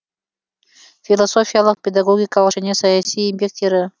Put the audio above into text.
философиялық педагогикалық және саяси еңбектері